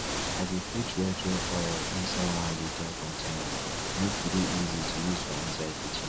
i dey put red red oil inside one liter container make e dey easy to use for inside kitchen